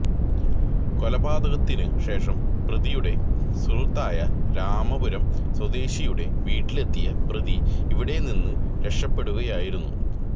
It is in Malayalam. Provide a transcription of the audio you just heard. കൊലപാതകത്തിനു ശേഷം പ്രതിയുടെ സുഹൃത്തായ രാമപുരം സ്വദേശിയുടെ വീട്ടിലെത്തിയ പ്രതി ഇവിടെ നിന്നു രക്ഷപെടുകയായിരുന്നു